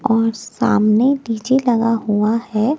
और सामने पीछे लगा हुआ है।